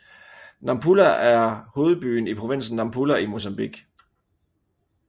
Nampula er hovedbyen i provinsen Nampula i Mozambique